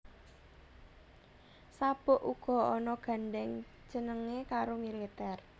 Sabuk uga ana gandheng cenenge karo militer